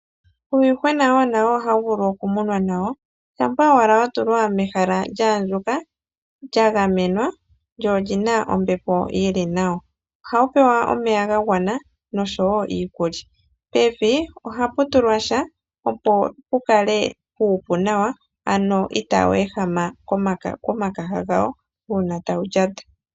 Uuyuhwena wo nawo ohawu vulu okumunwa nawo, shampa owala wa tulwa mehala lya andjuka, lya gamenwa lyo olyi na ombepo yili nawa. Ohawu pewa omeya ga gwana nosho wo iikulya. Pevi oha pu tulwa sha opo pu kale puupu nawa ano itaawu ehama komakaha gawo uuna tawu lyata.